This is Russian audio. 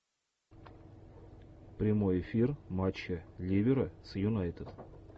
прямой эфир матча ливера с юнайтед